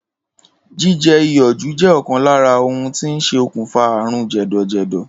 Jíje̩ iyò̩ jù jé̩ ò̩kan lára ohun tó ń sokùnfà àrùn jè̩dò̩jè̩dò̩